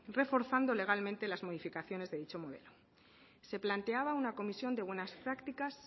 reforzando legalmente las modificaciones de dicho modelo se planteaba una comisión de buenas prácticas